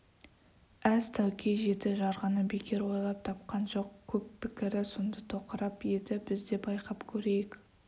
әз тәуке жеті жарғыны бекер ойлап тапқан жоқ көп пікірі сонда тоқырап еді біз де байқап көрейік